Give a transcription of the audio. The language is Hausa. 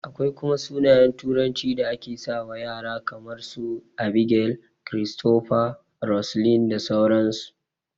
Akwai kuma sunayen turanci da ake sawa ƴara kaman su, Abigail, Christopher, Roseline da sauran su